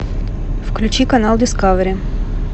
включи канал дискавери